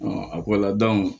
a ko la